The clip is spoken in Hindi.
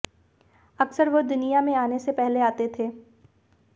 अक्सर वे दुनिया में आने से पहले आते थे